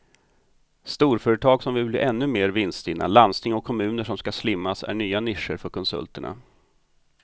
Storföretag som vill bli ännu mer vinststinna, landsting och kommuner som ska slimmas är nya nischer för konsulterna.